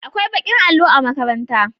Akwai ɓakin allo a makarantara.